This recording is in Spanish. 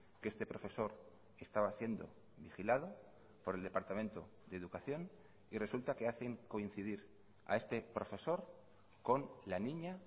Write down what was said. que este profesor estaba siendo vigilado por el departamento de educación y resulta que hacen coincidir a este profesor con la niña